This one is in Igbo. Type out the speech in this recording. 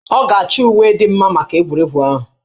Ọ ga-achọ uwe dị mma maka egwuregwu ahụ